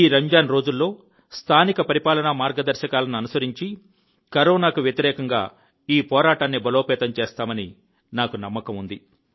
రంజాన్ ఈ రోజుల్లో స్థానిక పరిపాలన మార్గదర్శకాలను అనుసరించి కరోనాకు వ్యతిరేకంగా ఈ పోరాటాన్ని బలోపేతం చేస్తామని నాకు నమ్మకం ఉంది